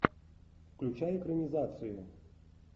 включай экранизацию